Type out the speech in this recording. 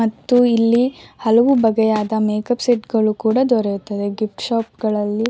ಮತ್ತು ಇಲ್ಲಿ ಹಲವು ಬಗೆಯಾದ ಮೇಕ್ಅಪ್ ಸೆಟ್ ಗಳು ಕೂಡ ದೊರೆಯುತ್ತದೆ ಗಿಫ್ಟ್ ಶಾಪ್ ಗಳಲ್ಲಿ --